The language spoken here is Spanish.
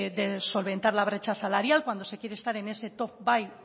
de solventar la brecha salarial cuando se quiere estar en ese top